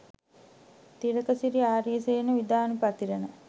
Thilakasiri Ariyasena Vidanapathirana